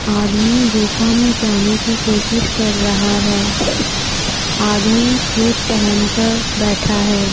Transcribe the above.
आदमी गुफा में जाने की कोशिश कर रहा है आदमी शूज पहनकर बैठा है।